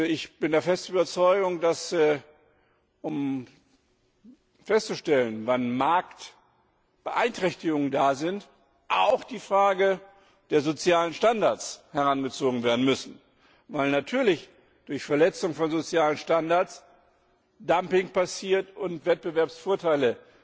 Ich bin der festen Überzeugung, dass um festzustellen, wann Marktbeeinträchtigungen gegeben sind auch die Frage der sozialen Standards herangezogen werden muss, weil natürlich durch Verletzung von sozialen Standards Dumping passiert und Wettbewerbsvorteile